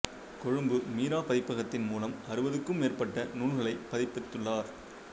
கொழும்பு மீரா பதிப்பகத்தின் மூலம் அறுபதுக்கும் மேற்பட்ட நூல்களைப் பதிப்பித்துள்ளார்